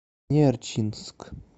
нерчинск